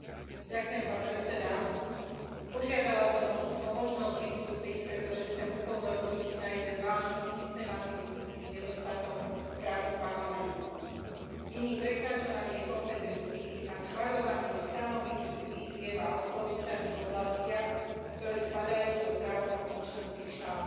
Vážený pán predsedajúci, požiadala som o možnosť vystúpiť, pretože chcem upozorniť na jeden vážny systematický nedostatok v práci Parlamentu. Je ním prekračovanie kompetencií a schvaľovanie stanovísk, výziev a odporúčaní v oblastiach, ktoré spadajú do právomoci členských štátov.